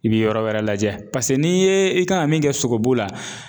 I bi yɔrɔ wɛrɛ lajɛ n'i ye i kan ka min kɛ sogobu la